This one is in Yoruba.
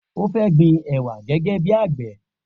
O fẹ́ gbin ẹwà gẹ́gẹ́ bí àgbẹ̀.